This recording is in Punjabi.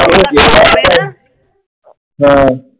ਹਾਂ।